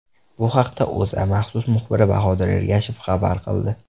Bu haqda O‘zA maxsus muxbiri Bahodir Ergashev xabar qildi .